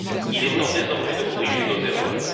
Il est temps désormais de corriger nos erreurs.